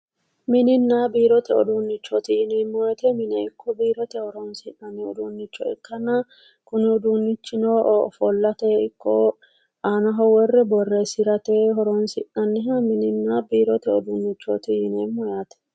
Mininna biirote uduunnichooti yineemmo woyiite mine ikko biirote horonsi'nanni uduunnicho ikkanna kuni uduunnichino ofollate ikko aanaho worre borreessirate horonsi'nanniha mininna biirote uduunnichooti yinanni yaate